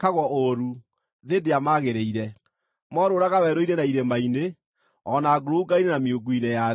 thĩ ndĩamaagĩrĩire. Moorũũraga werũ-inĩ na irĩma-inĩ, o na ngurunga-inĩ na miungu-inĩ ya thĩ.